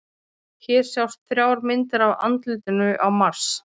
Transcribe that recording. Hér sjást þrjár myndir af andlitinu á Mars.